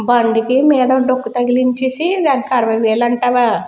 బండికి మీదన డొక్కు తగిలించేసి దానికి అరవై వేలు అంతవా.